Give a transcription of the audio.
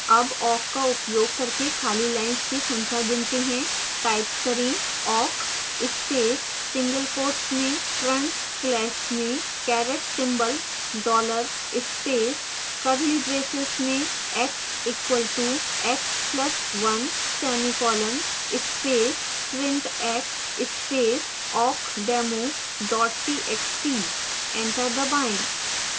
awk awk का उपयोग करके खाली lines की खंख्या गिनते हैं type करें